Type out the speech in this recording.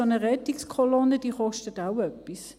Und eine solche Rettungskolonne kostet auch etwas;